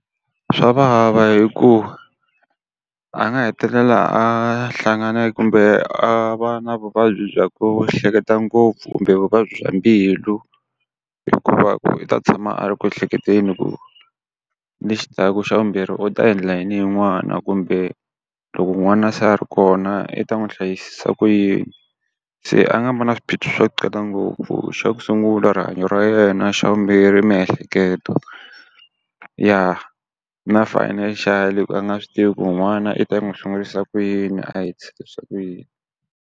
Swavava hikuva a nga hetelela a hlangane kumbe a va na vuvabyi bya ku hleketa ngopfu kumbe vuvabyi bya mbilu hikuva u ta tshama a ri ku ehleketeni ku lexi ta ku xa vumbirhi u ta endla yini hi n'wana, kumbe loko n'wana se a ri kona i ta n'wi hlayisisa ku yini. Se a nga ma na swiphiqo swo tala ngopfu xa ku sungula rihanyo ra yena, xa vumbirhi miehleketo, ya na financial-i hikuva a nga swi tivi ku n'wana i ta n'wi sungurisa ku yini a hetisisa ku yini.